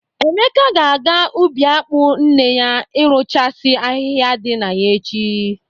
Emeka ga-aga ubi akpụ nne ya irụchasị ahịhịa dị na ya echi.